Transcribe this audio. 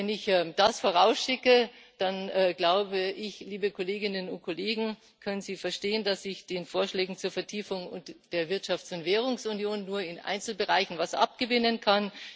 Wenn ich das vorausschicke, dann glaube ich, liebe Kolleginnen und Kollegen, können Sie verstehen, dass ich den Vorschlägen zur Vertiefung der Wirtschafts und Währungsunion nur in Einzelbereichen etwas abgewinnen kann.